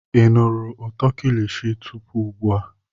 Ị nụrụ ụtọ kilishi tupu ugbua?